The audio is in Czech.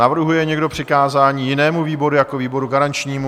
Navrhuje někdo přikázání jinému výboru jako výboru garančnímu?